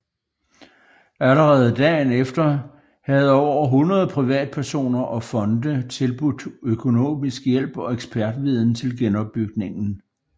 Allerede dagen efter havde over 100 privatpersoner og fonde tilbudt økonomisk hjælp og ekspertviden til genopbygningen